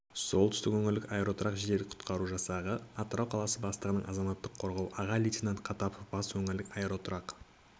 солтүстік өңірлік аэроұтқыр жедел-құтқару жасағы атырау қаласы бастығының азаматтық қорғау аға лейтенанты қатапов батыс өңірлік аэроұтқыр